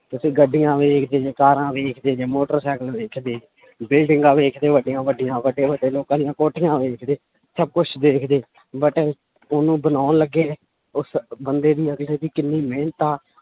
ਤੁਸੀਂ ਗੱਡੀਆਂ ਵੇਖਦੇ ਜੇ ਕਾਰਾਂ ਵੇਖਦੇ ਜੇ ਮੋਟਰ ਸਾਇਕਲ ਵੇਖਦੇ ਬਿਲਡਿੰਗਾਂ ਵੇਖਦੇ ਵੱਡੀਆਂ ਵੱਡੀਆਂ ਵੱਡੇ ਵੱਡੇ ਲੋਕਾਂ ਦੀਆਂ ਕੋਠੀਆਂ ਵੇਖਦੇ, ਸਭ ਕੁਛ ਵੇਖਦੇ but ਉਹਨੂੰ ਬਣਾਉਣ ਲੱਗੇ ਉਸ ਬੰਦੇ ਦੀ ਜਾਂ ਕਿਸੇ ਦੀ ਕਿੰਨੀ ਮਿਹਨਤ ਆ